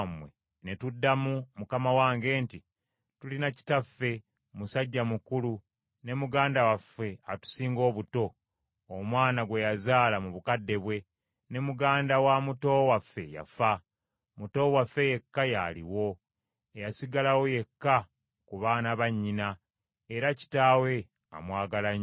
Ne tuddamu mukama wange nti, ‘Tulina kitaffe, musajja mukulu, ne muganda waffe atusinga obuto, omwana gwe yazaala mu bukadde bwe, ne muganda wa muto waffe, yafa; muto waffe yekka y’aliwo, eyasigalawo yekka ku baana ba nnyina; era kitaawe amwagala nnyo.’